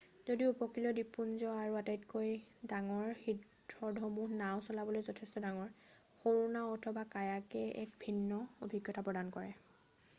যদিও উপকূলীয় দ্বীপপুঞ্জ আৰু আটাইতকৈ ডাঙৰ হ্ৰদসমূহ নাও চলাবলৈ যথেষ্ট ডাঙৰ সৰু নাও অথবা কায়াকে এক ভিন্ন অভিজ্ঞতা প্ৰদান কৰে